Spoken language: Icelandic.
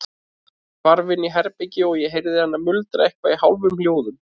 Hún hvarf inn í herbergi og ég heyrði hana muldra eitthvað í hálfum hljóðum.